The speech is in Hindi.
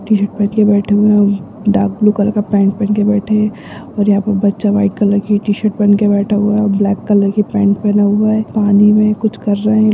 टी-शर्ट पेहन के बैठे हुए हैं म डार्क ब्लू कलर का पेन्ट पेहन के बैठे हैं और यहाँ पे बच्चा वाइट कलर की टी शर्ट पेहन के बैठा हुआ है और ब्लैक कलर की पेन्ट पेहना हुआ है पानी मैं कुछ कर रहे हैं।